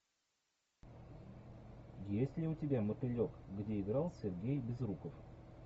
есть ли у тебя мотылек где играл сергей безруков